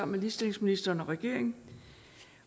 med ligestillingsministeren og regeringen